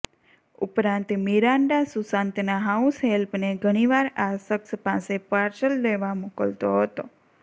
ઉપરાંત મિરાન્ડા સુશાંતના હાઉસ હેલ્પને ઘણીવાર આ શખ્સ પાસે પાર્સલ લેવા મોકલતો હતો